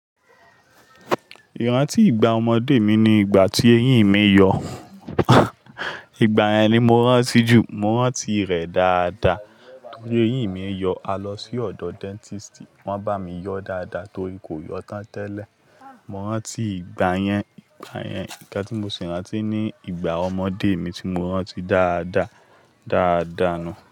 Ìrántí ìgbà ọmọdé mi ni ìgbà tí eyín mi yọ. Ìgbà yẹn ni mo rántí jù. Mo rántí rẹ̀ dáadáa torí eyín mi yọ. A lọ sí ọ̀dọ̀ dentisti, wọ́n bá mi yọ dáadáa torí kò yọ tán tẹ́lẹ̀. Mo rántí ìgbà yẹn, ìgbà yẹn. Nkán tí mo sì rántí ni ìgbà ọmọdé mi tí mo rántí dáadáa, dáadáa nu.